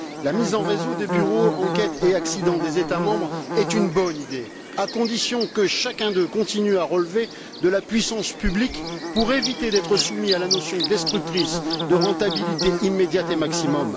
La mise en réseau des bureaux Enquêtes et accidents des États membres est une bonne idée, à condition que chacun d'eux continue à relever de la puissance publique pour éviter d'être soumis à la notion destructrice de rentabilité immédiate et maximum.